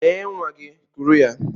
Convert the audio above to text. Lee nwa gị, kuru ya.